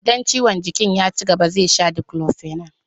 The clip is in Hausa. Idan ciwon jikin ya cigaba zai sha Diclofenac.